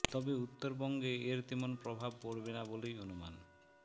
তবে উত্তরবঙ্গে এর তেমন প্রভাব পড়বে না বলেই অনুমান